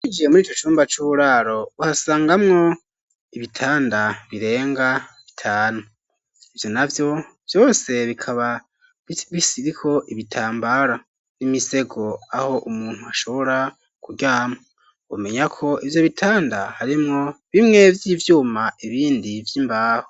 Winjiye muri ico cumba c'uburaro ,uhasangamwo ibitanda birenga bitanu, ivyo navyo vyose bikaba bisiriho ibitambara n'imisego aho umuntu ashobora kuryama, umenya ko ivyo bitanda harimwo bimwe vy'ivyuma ibindi vy'imbaho.